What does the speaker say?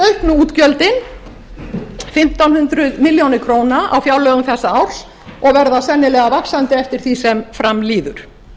einmitt auknu útgjöldin fimmtán hundruð milljóna króna á fjárlögum þessa árs og verða sennilega vaxandi eftir því sem fram líður